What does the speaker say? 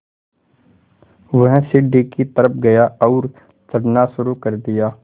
वह सीढ़ी की तरफ़ गया और चढ़ना शुरू कर दिया